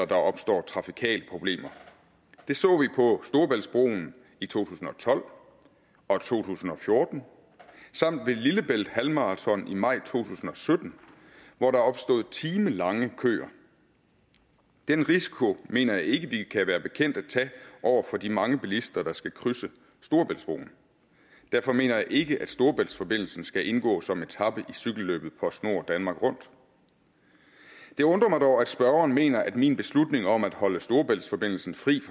der opstår trafikale problemer det så vi på storebæltsbroen i to tusind og tolv og to tusind og fjorten samt ved lillebælt halvmarathon i maj to tusind og sytten hvor der opstod timelange køer den risiko mener jeg ikke at vi kan være bekendt at tage over for de mange bilister der skal krydse storebæltsbroen derfor mener jeg ikke at storebæltsforbindelsen skal indgå som etape i cykelløbet postnord danmark rundt det undrer mig dog at spørgeren mener at min beslutning om at holde storebæltsforbindelsen fri